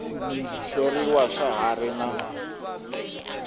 hleriwa xa ha ri na